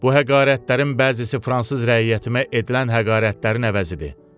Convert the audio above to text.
Bu həqarətlərin bəzisi fransız rəiyyətimə edilən həqarətlərin əvəzidir.